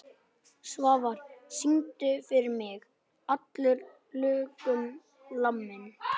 Svafar, syngdu fyrir mig „Allur lurkum laminn“.